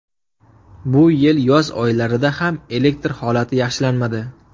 Bu yil yoz oylarida ham elektr holati yaxshilanmadi.